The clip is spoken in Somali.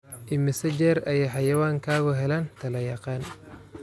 Immisa jeer ayay xayawaankaagu helaan talo-yaqaan?